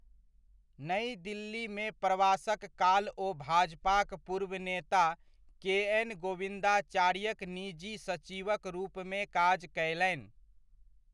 नइ दिल्लीमे प्रवासक काल ओ भाजपाक पूर्व नेता के. एन. गोविन्दाचार्यक निजी सचिवक रूपमे काज कयलनि।